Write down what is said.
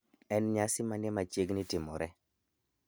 En nyasi mane machiegni timore